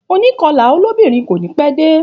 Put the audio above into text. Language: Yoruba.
Ònkọlà lóbìnrin kò ní pẹ́ dé